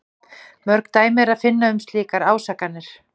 Mörg dæmi er að finna um slíkar ásakanir.